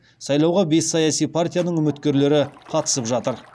сайлауға бес саяси партияның үміткерлері қатысып жатыр